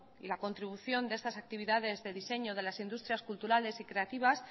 y la contribución de estas actividades de diseño de las industrias culturales y creativas